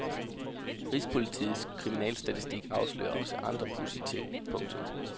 Rigspolitiets kriminalstatistik afslører også andre pudsige ting. punktum